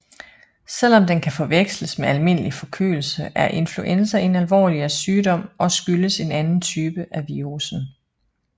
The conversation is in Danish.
Selvom den kan forveksles med almindelig forkølelse er influenza en alvorligere sygdom og skyldes en anden type af virussen